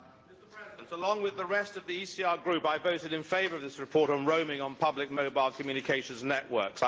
Mr President, along with the rest of the ECR Group, I voted in favour of this report on roaming on public mobile communications networks.